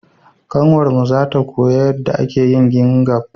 Ƙanwar mu za ta koya yanda ake yin gimbaf